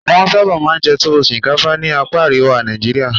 Wọ́n sábà máa ń jẹ Tuwo shinkafa ní apa àríwá Nàìjíríà.